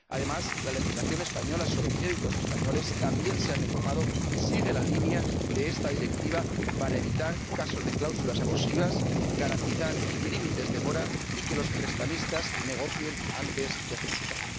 Además, la legislación española sobre créditos españoles también se ha reformado y sigue la línea de esta Directiva para evitar casos de cláusulas abusivas y garantizar límites de mora y que los prestamistas negocien antes de ejecutar.